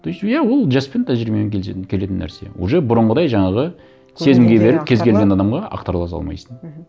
то есть иә ол жаспен тәжірибемен келетін нәрсе уже бұрынғыдай жаңағы сезімге беріліп кез келген адамға ақтарыла салмайсың мхм